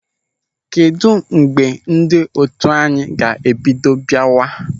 Kedụ mgbe ndị otu anyị ga-ebido biawa?